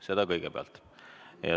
Seda kõigepealt.